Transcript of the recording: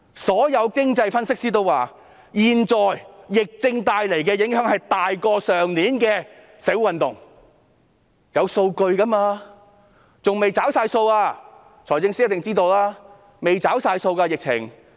所有經濟分析師都表示，現在疫症帶來的影響大於去年的社會運動，這是有數據的，而且還未完全"找數"。